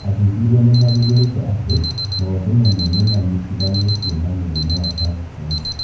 Athuthuria nĩmathundũrĩte atĩ maũthĩ mamwe nĩmanyitithanĩtio na mũrimũ wa Parknson's